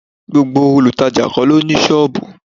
Gbogbo olutaja kó lo ní sọọbù.